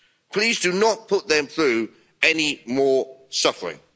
Please do not put them through any more suffering.